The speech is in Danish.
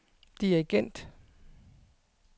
dirigent